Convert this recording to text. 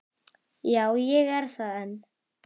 Já, ég er það enn.